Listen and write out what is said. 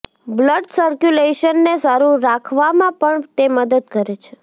blood સર્ક્યુલેશનને સારું રાખવામાં પણ તે મદદ કરે છે